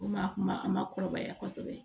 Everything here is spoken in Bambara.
Komi a kun ma a ma kɔrɔbaya kosɛbɛ